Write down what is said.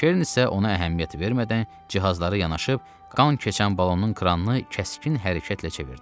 Keren isə ona əhəmiyyət vermədən cihazları yanaşıb, qan keçən balonun kranını kəskin hərəkətlə çevirdi.